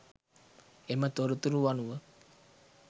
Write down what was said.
එම තොරතුරු අනුව